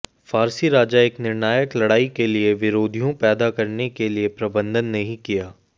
फारसी राजा एक निर्णायक लड़ाई के लिए विरोधियों पैदा करने के लिए प्रबंधन नहीं किया